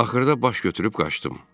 Axırda baş götürüb qaçdım.